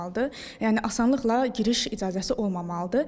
Yəni asanlıqla giriş icazəsi olmamalıdır.